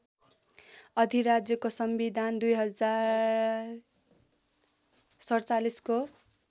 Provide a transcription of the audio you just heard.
अधिराज्यको संविधान २०४७ को